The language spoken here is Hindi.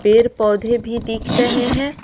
पैर पौधे भी दिख रहे हैं।